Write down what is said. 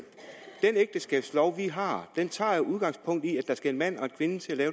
den ægteskabslov vi har tager jo udgangspunkt i at der skal en mand og en kvinde til at